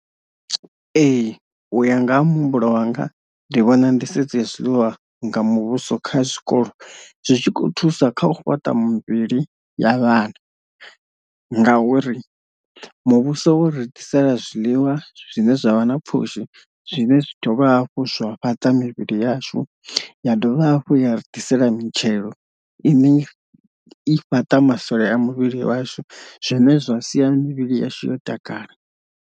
Ee u ya nga ha muhumbulo wanga ndi vhona nḓisedzo ya zwiḽiwa nga muvhuso kha zwikolo zwi tshi kho thusa kha u fhaṱa muvhili ya vhana, ngauri muvhuso wo ri ḓisela zwiḽiwa zwine zwavha na pfhushi zwine zwi dovha hafhu zwa fhaṱa mivhili yashu, ya dovha hafhu ya ri ḓisela mitshelo ine i fhata masole a muvhili washu zwine zwa sia mivhili yashu yo takala.